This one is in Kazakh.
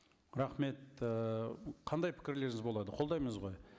рахмет ііі қандай пікірлеріңіз болады қолдаймыз ғой